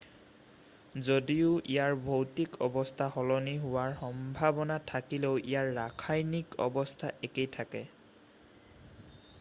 যদিও ইয়াৰ ভৌতিক অৱস্থা সলনি হোৱাৰ সম্ভাৱনা থাকিলেও ইয়াৰ ৰাসায়নিক অৱস্থা একেই থাকে